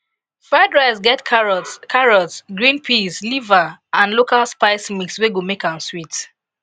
fried rice get carrots carrots green peas liver and local spice mix wey go make am sweet